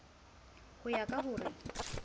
ho ya ka ho re